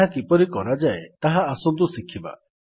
ଏହା କିପରି କରାଯାଏ ତାହା ଆସନ୍ତୁ ଶିଖିବା